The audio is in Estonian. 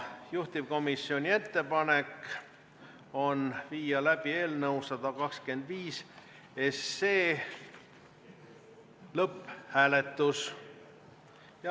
Juhtivkomisjoni ettepanek on viia läbi eelnõu 125 lõpphääletus.